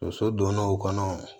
Muso donna o kɔnɔ